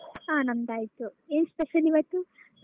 ಹಾ ನಮ್ದು ಆಯ್ತು ಏನ್ special ಇವತ್ತು.